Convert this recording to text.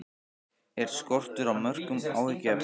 Er skortur á mörkum áhyggjuefni?